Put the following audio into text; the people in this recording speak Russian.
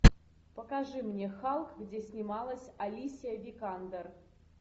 покажи мне халк где снималась алисия викандер